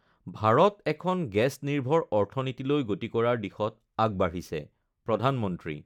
ভাৰতএখন গেছ নিৰ্ভৰ অৰ্থনীতিলৈ গতি কৰাৰ দিশত আগবাঢ়িছেঃ প্ৰধানমন্ত্ৰী